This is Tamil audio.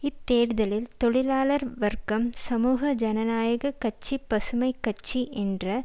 இத்தேர்தலில் தொழிலாளர் வர்க்கம் சமூக ஜனநாயக கட்சிபசுமை கட்சி என்ற